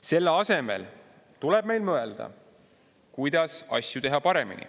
Selle asemel tuleb meil mõelda, kuidas asju teha paremini.